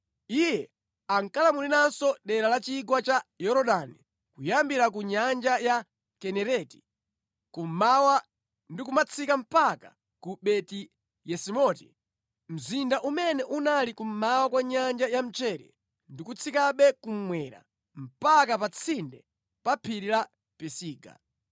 Iye ankalamuliranso dera la chigwa cha Yorodani kuyambira ku Nyanja ya Kinereti, kummawa ndi kumatsika mpaka ku Beti-Yesimoti, mzinda umene unali kummawa kwa Nyanja ya Mchere ndi kutsikabe kummwera mpaka pa tsinde pa phiri la Pisiga.